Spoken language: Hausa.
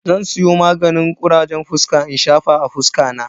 Zan siyo maganin kurajen fuska in shafa a fuska na.